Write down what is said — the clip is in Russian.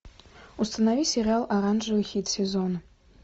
установи сериал оранжевый хит сезона